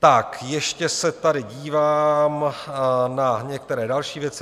Tak ještě se tady dívám na některé další věci.